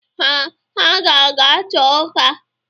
Ee, ha ga-ata ọka.